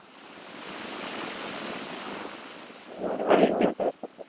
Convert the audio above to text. হ্যাঁ ওরা